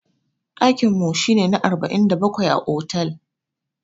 Daƙin mu shi ne na arba'in da bakwai a otal.